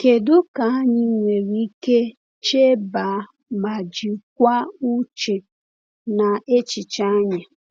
Kedu ka anyị nwere ike chebe ma jikwaa uche na echiche anyị?